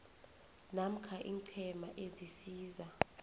namkha iinqhema ezisiza